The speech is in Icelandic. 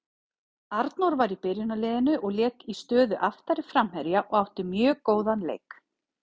Arnór var í byrjunarliðinu og lék í stöðu aftari framherja og átti mjög góðan leik.